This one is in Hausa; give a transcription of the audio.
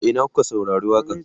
a Ina kuka saurari waƙa n?